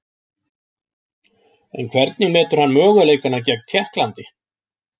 En hvernig metur hann möguleikana gegn Tékklandi?